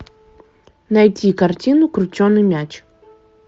найти картину крученый мяч